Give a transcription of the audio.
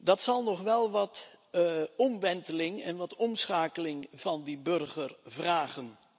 Dat zal nog wel wat omwenteling en wat omschakeling van die burger vergen.